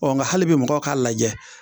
Ɔ nka hali bi mɔgɔw k'a lajɛ